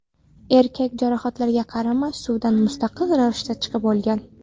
Erkak jarohatlarga qaramay suvdan mustaqil ravishda chiqib olgan.